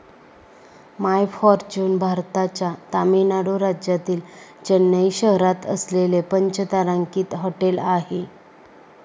माय Fortune भारताच्या तामिळनाडू राज्यातील चेन्नई शहरात असलेले पंचतारांकित हॉटेल आहे.